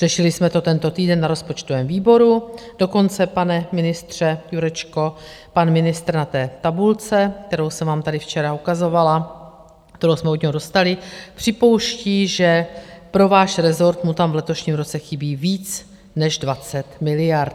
Řešili jsme to tento týden na rozpočtovém výboru dokonce, pane ministře Jurečko, pan ministr, na té tabulce, kterou jsem vám tady včera ukazovala, kterou jsme od něho dostali, připouští, že pro váš resort mu tam v letošním roce chybí víc než 20 miliard.